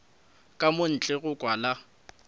ka mo ntle go kwala